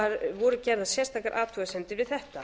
voru gerðar sérstakar athugasemdir við þetta